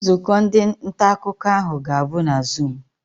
Nzukọ ndị nta akụkọ ahụ ga-abụ na zuum.